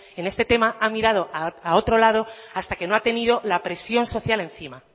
en este tema ha mirado a otro lado hasta que no ha tenido la presión social encima